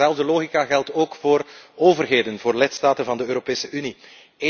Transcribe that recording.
Dezelfde logica geldt ook voor overheden, voor lidstaten van de Europese Unie.